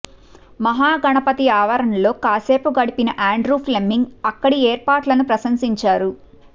మహా గణపతి ఆవరణలో కాసేపు గడిపిన ఆండ్రూ ఫ్లెమింగ్ అక్కడి ఏర్పాట్లను ప్రశంసించారు